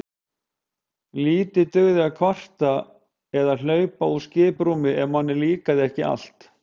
Lítið dugði að kvarta eða hlaupa úr skiprúmi ef manni líkaði ekki allt.